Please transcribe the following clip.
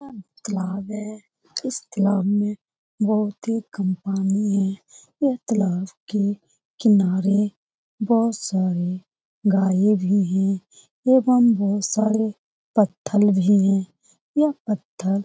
तलाब है इस तालाब में बहुत ही कम पानी है यह तालाब के किनारे बहो सारे गाये भी हें एवं बहोत सारे पत्थल भी हें यह फत्थल --